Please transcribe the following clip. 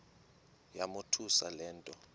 yamothusa le nto